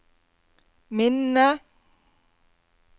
minne